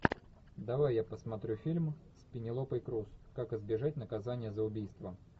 давай я посмотрю фильм с пенелопой крус как избежать наказания за убийство